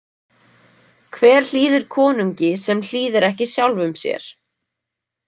Hver hlýðir konungi sem hlýðir ekki sjálfum sér?